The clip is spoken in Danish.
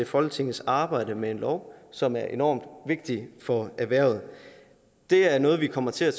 folketingets arbejde med en lov som er enormt vigtig for erhvervet det er noget vi kommer til at